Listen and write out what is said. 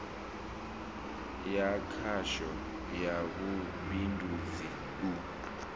ya khasho ya vhubindudzi u